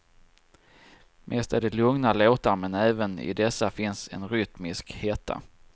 Mest är det lugna låtar men även i dessa finns en rytmisk hetta.